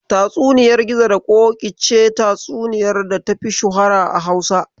Tatsuniyar Gizo da Ƙoƙi ita ce tatsuniyar data fi shuhura a Hausa.